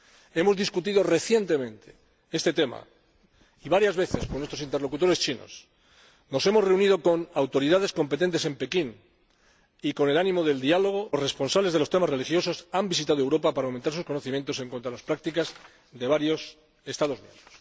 Hemos debatido recientemente este tema varias veces con nuestros interlocutores chinos, nos hemos reunido con autoridades competentes en Pekín y con el ánimo del Diálogo los responsables de los temas religiosos han visitado Europa para aumentar sus conocimientos en cuanto a las prácticas de varios Estados miembros.